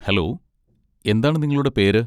Hello എന്താണ് നിങ്ങളുടെ പേര്?